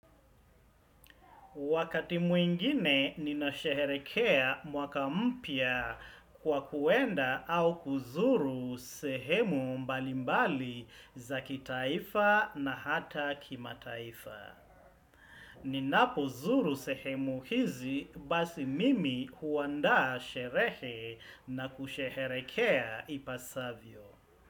Wakati mwingine ninasheherekea mwaka mpya kwa kuenda au kuzuru sehemu mbalimbali za kitaifa na hata kimataifa. Ninapozuru sehemu hizi basi mimi huandaa sherehe na kusherehekea ipasavyo.